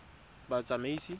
batsamaisi